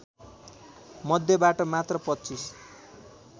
मध्येबाट मात्र २५